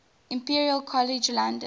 imperial college london